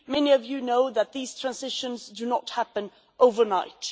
Many of you know that these transitions do not happen overnight.